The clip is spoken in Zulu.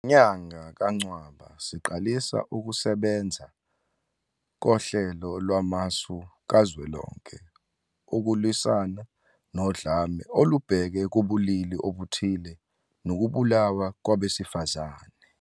Ngenyanga kaNcwaba, siqalisa ukusebenza koHlelo Lwamasu Kazwelonke ukulwisana nodlame olubhekiswe kubulili obuthile nokubulawa kwabesifazane.